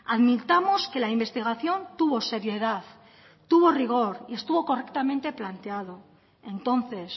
admitamos que la investigación tuvo seriedad tuvo rigor y estuvo correctamente planteado entonces